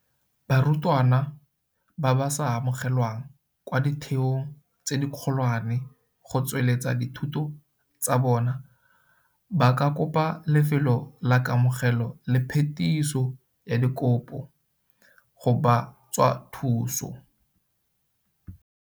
Barutwana ba ba sa amogelwang kwa ditheong tse dikgolwane go tsweletsa dithuto tsa bona ba ka kopa lefelo la Kamogelo le Phetiso ya Dikopo CACH go ba tswa thuso.